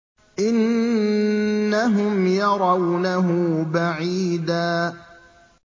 إِنَّهُمْ يَرَوْنَهُ بَعِيدًا